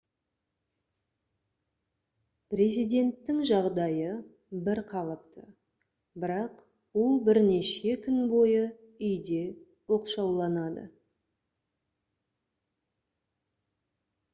президенттің жағдайы бір қалыпты бірақ ол бірнеше күн бойы үйде оқшауланады